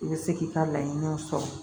I bɛ se k'i ka laɲiniw sɔrɔ